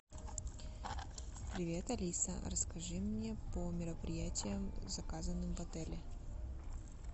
привет алиса расскажи мне по мероприятиям заказанным в отеле